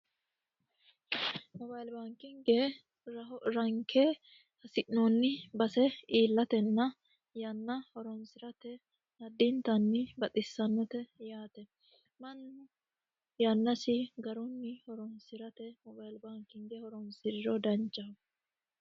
mobayiili baankinge ranke hasi'noonni base iillatenna yanna horonsi'rate addiintanni baxxissannote yaate mannu yannasi garunni horonsi'rate mobayilbaankinge horonsiriro danchaho